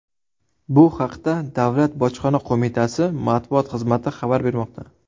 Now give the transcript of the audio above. Bu haqda Davlat bojxona qo‘mitasi matbuot xizmati xabar bermoqda.